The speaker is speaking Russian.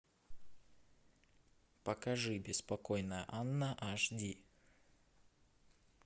покажи беспокойная анна аш ди